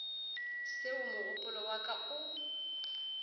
seo mogopolo wa ka o